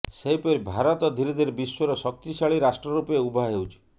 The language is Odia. ସେହିପରି ଭାରତ ଧୀରେଧୀରେ ବିଶ୍ୱର ଶକ୍ତିଶାଳୀ ରାଷ୍ଟ୍ର ରୂପେ ଉଭା ହେଉଛି